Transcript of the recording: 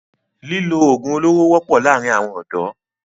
Lílò ogun olóro wọpọ laarin awọn ọdọ